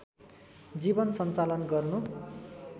जीवन सन्चालन गर्नु